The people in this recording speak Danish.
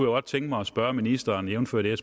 godt tænke mig at spørge ministeren jævnfør det